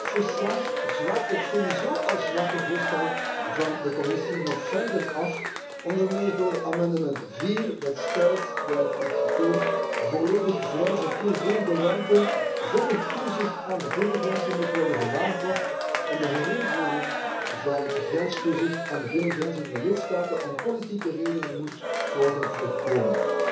Dit verslag zwakt het sowieso al zwakke voorstel van de Commissie nog verder af, onder meer door amendement 4, dat stelt, ik citeer, Volledig vrij verkeer binnen de ruimte zonder toezicht aan de binnengrenzen moet worden gewaarborgd en de herinvoering van grenstoezicht aan de binnengrenzen door de lidstaten om politieke redenen moet worden voorkomen.